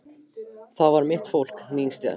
Það var mitt fólk, mín stétt.